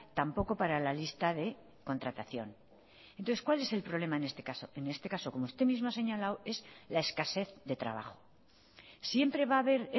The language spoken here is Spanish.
tampoco para la lista de contratación entonces cuál es el problema en este caso en este caso como usted mismo ha señalado es la escasez de trabajo siempre va a haber